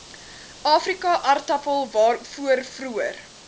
afrikaaartappel waarvoor vroeër